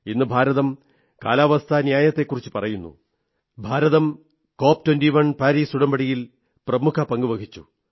ഇന്ന് ഭാരതം കാലവസ്ഥാ ന്യായത്തെക്കുറിച്ചു പറയുന്നു ഭാരതം cop21 പാരീസ് ഉടമ്പടിയിൽ പ്രമുഖ പങ്കു വഹിച്ചു